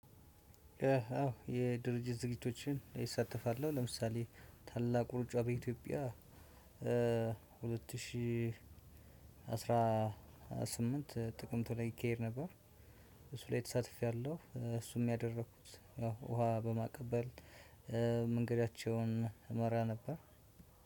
አዎ የድርጅት ዝግጅቶችን እሳተፋለሁ። ለምሳሌ ታላቁ ሩጫ በኢትዮጵያ። ሁለት ሺህ አስራ ስምንት ጥቅምት ላይ ይካሄድ ነበር። እሱ ላይ ተሳትፌያለሁ። እሱም ያደረኩት ያው ውሃ በማቀበል መንገዳቸውን እመራ ነበር።